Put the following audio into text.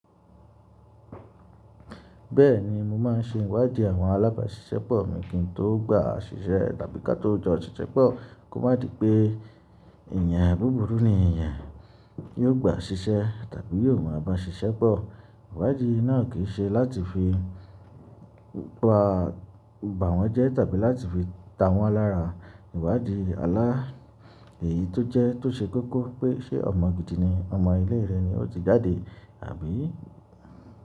Bẹ́ẹ̀ni mo máa ń ṣe ìwádìí àwọn alábàáṣiṣẹ́ pọ̀ mi kí n tó gba ṣiṣẹ́ tàbí kí á tó jọ ṣiṣẹ́ pọ̀ kó má di pé èèyàn búburú ni èèyàn, yóò gba ṣiṣẹ́ tàbí yóò máa bá ṣiṣẹ́ pọ̀. Ìwádìí náà kì í ṣe láti fi pa, bà wọ́n jẹ tàbí láti fi ta wọ́n lára. Ìwádìí alá èyí tó jẹ́ tó ṣe kókó pé ṣe ọmọ gidi ni ọmọ ilé re ó ti jáde àbí?